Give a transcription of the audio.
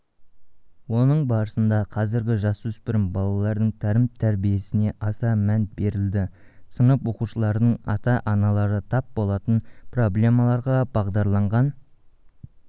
оның барысында қазіргі жасөспірім балалардың тәрім-тәрбиесіне аса мән берілді сынып оқушыларының ата-аналары тап болатын проблемаларға бағдарланған